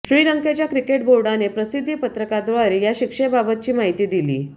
श्रीलंकेच्या क्रिकेट बोर्डाने प्रसिद्धीपत्रकाद्वारे या शिक्षेबाबतची माहिती दिली